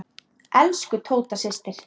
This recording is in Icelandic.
Elsku Tóta systir.